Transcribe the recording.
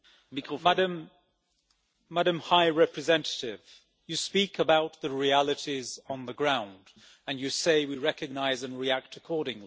Mr President, Madam High Representative, you speak about the realities on the ground and you say we recognise and react accordingly.